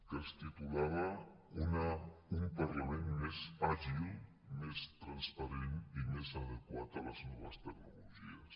que es titulava un parlament més àgil més transparent i més adequat a les noves tecnologies